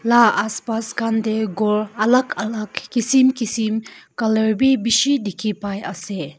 Nah aspas khan dae ghor alak alak kisim kisim colour bhi beshi dekhe pai ase.